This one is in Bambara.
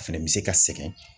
A fɛnɛ bɛ se ka sɛgɛn